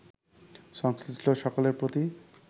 সংশ্লিষ্ট সকলের প্রতি